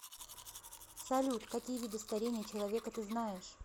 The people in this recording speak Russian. салют какие виды старение человека ты знаешь